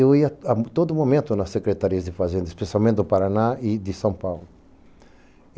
Eu ia a todo momento nas secretarias de fazendas, especialmente do Paraná e de São Paulo.